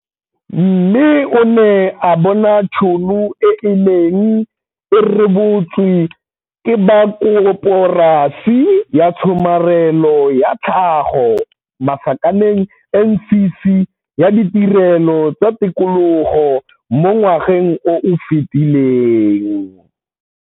Mme o ne a bona tšhono e e neng e rebotswe ke ba Koporasi ya Tshomarelo ya Tlhago, NCC, ya Ditirelo tsa Tikologo mo ngwageng o o fetileng.